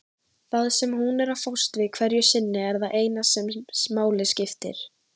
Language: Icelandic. Það sem hún er að fást við hverju sinni er það eina sem máli skiptir.